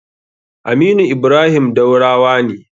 Aminu Ibrahim Daurawa ne.